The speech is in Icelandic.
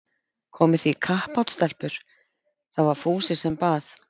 Komið þið í kappát stelpur? það var Fúsi sem bað.